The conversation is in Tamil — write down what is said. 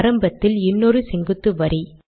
ஆரம்பத்தில் இன்னொரு செங்குத்து வரி